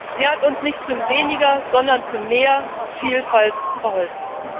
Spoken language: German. Sie hat uns nicht zu weniger, sondern zu mehr Vielfalt verholfen.